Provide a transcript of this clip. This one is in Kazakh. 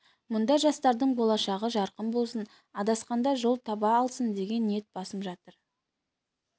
мұнда жастардың болашағы жарқын болсын адасқанда жол таба алсын деген ниет басым жатыр